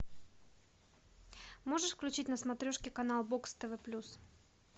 можешь включить на смотрешке канал бокс тв плюс